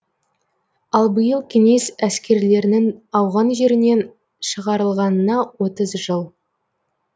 ал биыл кеңес әскерлерінің ауған жерінен шығарылғанына отыз жыл